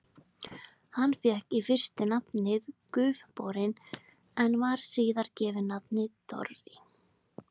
Hann fékk í fyrstu nafnið Gufuborinn, en var síðar gefið nafnið Dofri.